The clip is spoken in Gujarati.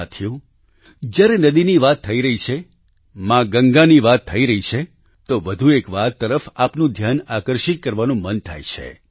સાથીઓ જ્યારે નદીની વાત થઈ જ રહી છે મા ગંગાની વાત થઈ રહી છે તો વધુ એક વાત તરફ આપનું ધ્યાન આકર્ષિત કરવાનું મન થાય છે